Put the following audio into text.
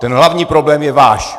Ten hlavní problém je váš!